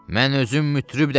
Mən özüm mütrib dəftəri.